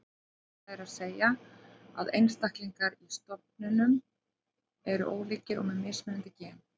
Það er að segja að einstaklingar í stofnum eru ólíkir og með mismunandi gen.